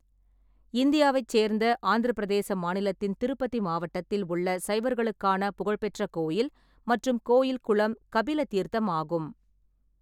இந்தியாவைச் சேர்ந்த ஆந்திரப் பிரதேச மாநிலத்தின் திருப்பதி மாவட்டத்தில் உள்ள சைவர்களுக்கான புகழ்பெற்ற கோயில் மற்றும் கோயில் குளம் கபில தீர்த்தம் ஆகும்.